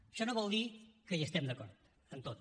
això no vol dir que hi estem d’acord en tot